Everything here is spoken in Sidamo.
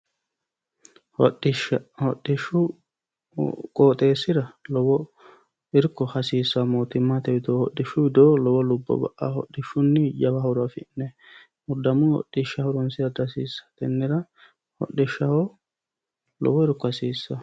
Hodhishsha. Hodhishshu qooxeessira lowo irko hasiissanno mootimmate widoo, hodhishshu widoo lowo lubbo ba"aa. Hodhishshunni lowo horo afi'nayi muddammo hodhisha horonsira dihasiissawo tennera hodhishaho lowo irko hasiissawo.